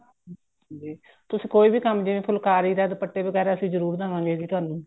ਹਾਂਜੀ ਤੁਸੀਂ ਕੋਈ ਵੀ ਕੰਮ ਜਿਵੇਂ ਫੁਲਕਾਰੀ ਦੇ ਦੁਪੱਟੇ ਵਗੈਰਾ ਜਰੂਰ ਦੇਵਾਗੇ ਜੀ ਤੁਹਾਨੂੰ